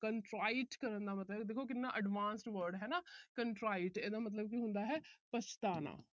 contrite ਕਰਨ ਦਾ ਮਤਲਬ ਹੈ। ਦੇਖੋ ਕਿੰਨਾ advance word ਹੈ ਹਨਾ। contrite ਇਹਦਾ ਮਤਲਬ ਹੈ ਪਛਤਾਉਣਾ।